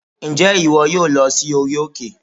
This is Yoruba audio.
Ǹjẹ́ ìwọ yóò lọ sí orí òkè?